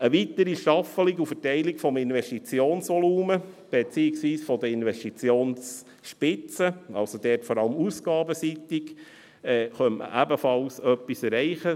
Durch eine weitere Staffelung und Verteilung des Investitionsvolumens beziehungsweise der Investitionsspitzen – dort vor allem ausgabenseitig – könnte man ebenfalls etwas erreichen.